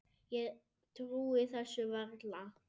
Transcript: Ég trúi þessu varla